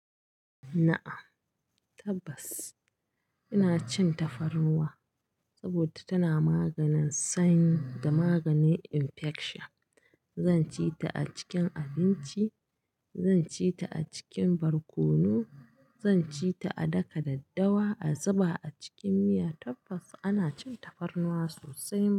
Na'am, tabbas ina cin tafarnuwa, saboda tana maganin sanyi, da maganin infection. Zan ci ta a cikin abinci, zan ci ta a cikin barkono, zan ci ta a daka daddawa, a zuba a cikin miya. Tabbas ana cin tafarnuwa sosai.